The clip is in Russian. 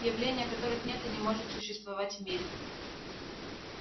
явления которых нет и не может существовать в мире